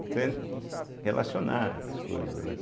Entende, relacionar as coisas, né.